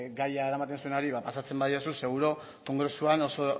gaia eramaten zuenari ba pasatzen badiozu seguru kongresuan oso